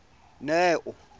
neo